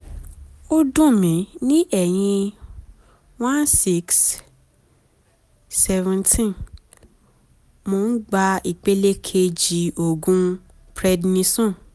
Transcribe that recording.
ó dùn mí ní ẹ̀yìn 1/6/17 mò ń gba ìpele kejì oògùn prednisone